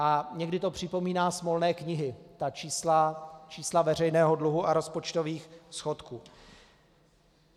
A někdy to připomíná smolné knihy, ta čísla veřejného dluhu a rozpočtových schodků.